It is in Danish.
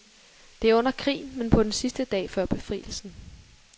Det er under krigen, men på den sidste dag før befrielsen.